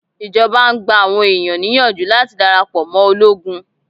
Ìjọba ń gba àwọn ẹ̀yàn níyànjú láti darapọ̀ mọ́ ológun.